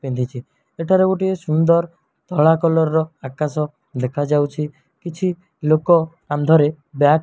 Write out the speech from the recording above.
ପିନ୍ଧିଛି ଏଠାରେ ଗୋଟିଏ ସୁନ୍ଦର ଧଳା କଲର୍ ର ଆକାଶ ଦେଖାଯାଉଛି କିଛି ଲୋକ କାନ୍ଧରେ ବ୍ୟାଗ୍ --